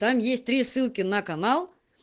там есть три ссылки на канал